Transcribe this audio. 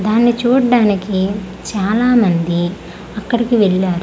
దాన్ని చూడ్డానికి చాలామంది అక్కడికి వెళ్లారు.